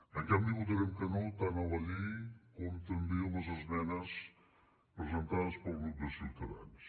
en canvi votarem que no tant a la llei com també a les esmenes presentades pel grup de ciutadans